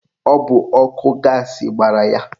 Ọ bụ ọkụ gaasị gbara ya.